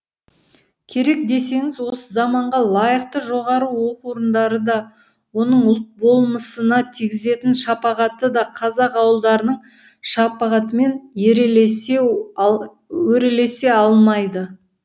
керек десеңіз осы заманға лайықты жоғары оқу орындары да оның ұлт болмысына тигізетін шапағаты да қазақ ауылдарының шапағатымен өрелесе алмайды